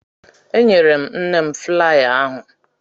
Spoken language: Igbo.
Enyere m nne m flaya ahụ